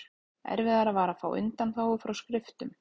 Erfiðara var að fá undanþágu frá skriftum.